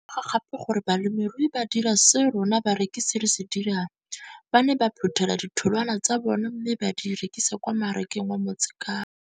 Ke ne ka lemoga gape gore balemirui ba dira seo rona barekisi re se dirang - ba ne ba phuthela ditholwana tsa bona mme ba di rekisa kwa marakeng wa Motsekapa.